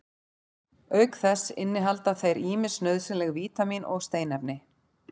auk þess innihalda þeir ýmis nauðsynleg vítamín og steinefni